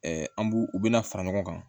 an b'u u bɛna fara ɲɔgɔn kan